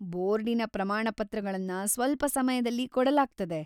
ಬೋರ್ಡಿನ ಪ್ರಮಾಣಪತ್ರಗಳನ್ನ ಸ್ವಲ್ಪ ಸಮಯದಲ್ಲಿ ಕೊಡಲಾಗ್ತದೆ.